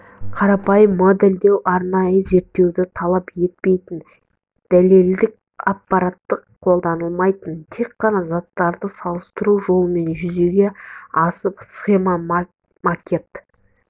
қарапайым модельдеу арнайы зерттеуді талап етпейтін дәлелдік аппарат қолданылмайтын тек қана заттарды салыстыру жолымен жүзеге асып схема макет